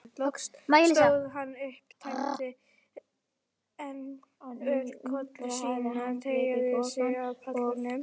Loks stóð hann upp, tæmdi enn ölkollu sína, tygjaði sig af pallinum og sagði